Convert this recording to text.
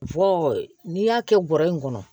n'i y'a kɛ bɔrɔ in kɔnɔ